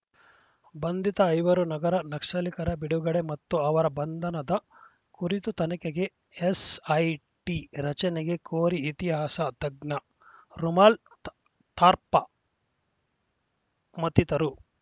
ಬಂಧಿತ ಐವರು ನಗರ ನಕ್ಸಲಿಕ ರ ಬಿಡುಗಡೆ ಮತ್ತು ಅವರ ಬಂಧನದ ಕುರಿತ ತನಿಖೆಗೆ ಎಸ್‌ಐಟಿ ರಚನೆಗೆ ಕೋರಿ ಇತಿಹಾಸ ತಜ್ಞೆ ರೋಮಾಲ್ ಥಾ ಥಾರಪ ಮತ್ತಿತರರು